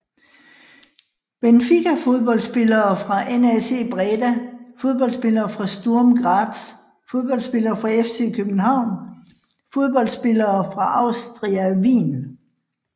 Benfica Fodboldspillere fra NAC Breda Fodboldspillere fra Sturm Graz Fodboldspillere fra FC København Fodboldspillere fra Austria Wien